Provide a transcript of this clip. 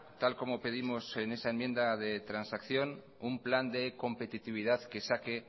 tal como pedimos en esa enmienda de transacción un plan de competitividad que saque